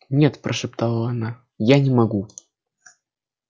нет прошептала она я не могу